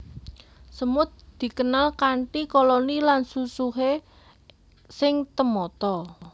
Semut dikenal kanthi koloni lan susuhé sing temata